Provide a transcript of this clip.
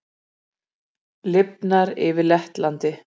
Lifnar yfir Lettlandi